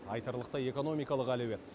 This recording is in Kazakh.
айтарлықтай экономикалық әлеует